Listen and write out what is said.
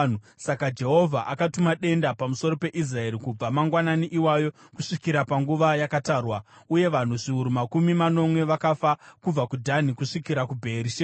Saka Jehovha akatuma denda pamusoro peIsraeri kubva mangwanani iwayo kusvikira panguva yakatarwa, uye vanhu zviuru makumi manomwe vakafa kubva kuDhani kusvikira kuBheerishebha.